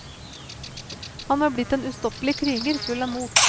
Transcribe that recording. Han var blitt en ustoppelig kriger full av mot.